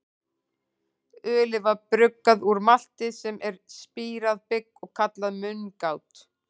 Ölið var bruggað úr malti, sem er spírað bygg, og kallað mungát.